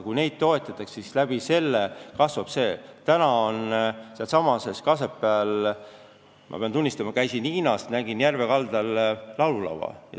Ma pean tunnistama, et ma käisin Hiinas ja nägin seal järve kaldal laululava.